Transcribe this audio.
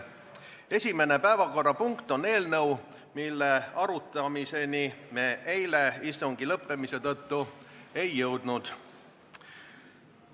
Esimene päevakorrapunkt on eelnõu, mille arutamiseni me eile istungi lõppemise tõttu ei jõudnud.